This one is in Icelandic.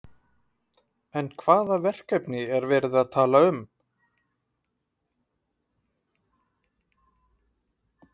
En hvaða verkefni er verið að tala um?